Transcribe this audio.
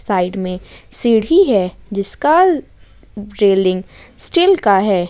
Side में सीढी है जिसका रेलिंग स्टील का है।